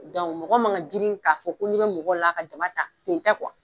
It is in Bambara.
Dɔn mɔgɔ man ga grin k'a fɔ ko ɲɛ be mɔgɔ la a ka jama ta kun tɛ kuwa